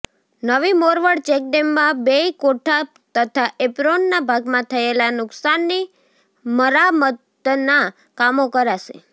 નવી મોરવાડ ચેકડેમમાં બેય કોઠા તથા એપ્રોનના ભાગમાં થયેલા નૂકશાનની મરામતના કામો કરાશે